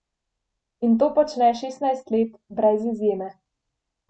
In to počne šestnajst let brez izjeme.